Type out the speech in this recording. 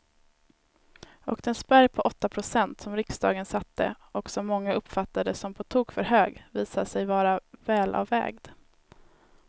Och den spärr på åtta procent som riksdagen satte och som många uppfattade som på tok för hög visade sig vara välavvägd.